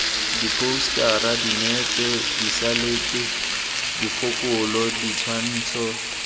diphousetara dinepe diselaete dikgopolo ditshwantsho